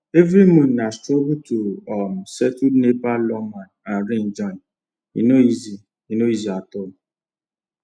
every month na struggle to um settle nepa lawma and rent join e no easy e no easy at all